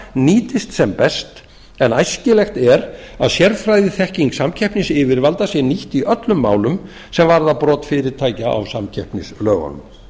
nýtist sem best en æskilegt er að sérfræðiþekking samkeppnisyfirvalda sé nýtt í öllum málum sem varða brot fyrirtækja á samkeppnislögunum